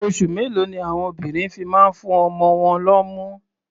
Oṣù mélòó ni àwon obìnrin fi máa ń fún ọmọ wọn lọ́mú?